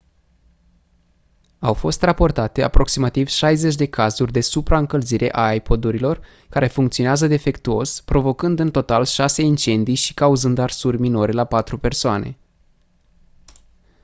au fost raportate aproximativ 60 de cazuri de supraîncălzire a ipod-urilor care funcționează defectuos provocând în total șase incendii și cauzând arsuri minore la patru persoane